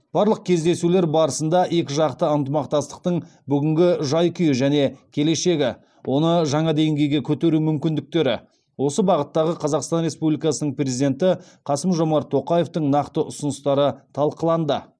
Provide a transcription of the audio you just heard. барлық кездесулер барысында екіжақты ынтымақмастықтың бүгінгі жай күйі және келешегі оны жаңа деңгейге көтеру мүмкіндіктері осы бағыттағы қазақстан республикасының президенті қасым жомарт тоқаевтың нақты ұсыныстары талқыланды